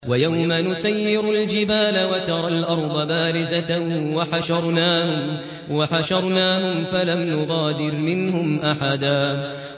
وَيَوْمَ نُسَيِّرُ الْجِبَالَ وَتَرَى الْأَرْضَ بَارِزَةً وَحَشَرْنَاهُمْ فَلَمْ نُغَادِرْ مِنْهُمْ أَحَدًا